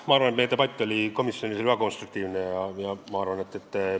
Ma arvan, et meie debatt oli komisjonis väga konstruktiivne.